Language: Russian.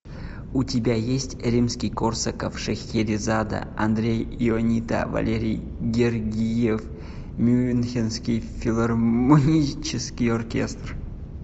у тебя есть римский корсаков шахерезада андрей ионита валерий гергиев мюнхенский филармонический оркестр